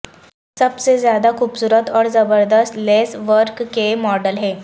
سب سے زیادہ خوبصورت اور زبردست لیس ورک کے ماڈل ہیں